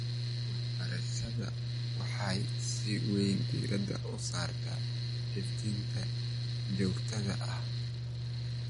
Waxbarashada waxay si weyn diiradda u saartaa xifdinta joogtada ah.